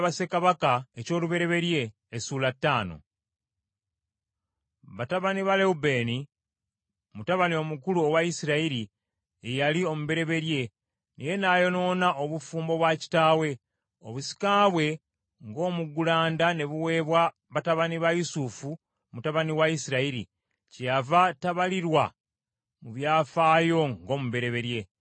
Batabani ba Lewubeeni, mutabani omukulu owa Isirayiri, ye yali omubereberye, naye nayonoona obufumbo bwa kitaawe, obusika bwe ng’omuggulanda ne buweebwa batabani ba Yusufu mutabani wa Isirayiri, kyeyava tabalirwa mu byafaayo ng’omubereberye.